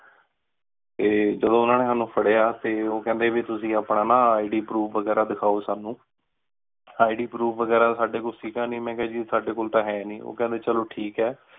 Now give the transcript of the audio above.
ਤੇ ਜਦੋਂ ਓਹਨਾ ਨੀ ਸਾਨੂ ਫਾਰਯ ਟੀ ਓਹ ਕੇਹੰਡੀ ਵੀ ਤੁਸੀਂ ਆਪਣਾ ਨਾ IDProof ਵਗੇਰਾ ਦਿਖਾਓ ਸਾਨੂ IDProof ਵਗੇਰਾ ਸਾਡੇ ਕੋਲ ਸੀ ਗਾ ਨੀ, ਮੇਨ ਕਿਹਾ ਸਾਡੇ ਕੋਲ ਤਾਂ ਹੈ ਨੀ, ਓਹ ਕੇਹੰਡੀ ਚਲੋ ਠੀਕ ਹੈ।